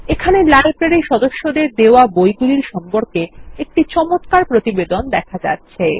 এখানেলাইব্রেরী সদস্যদের দেওয়া বইগুলিরসম্পর্কেএকটি চমৎকার প্রতিবেদনদেখা যাচ্ছে